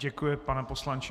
Děkuji, pane poslanče.